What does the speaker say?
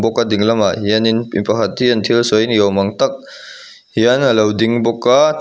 awka dinglamah hianin mipakhat hian thil sawi ni awm ang tak hian alo ding bawk a--